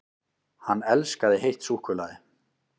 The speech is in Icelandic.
HANN ELSKAÐI HEITT SÚKKULAÐI!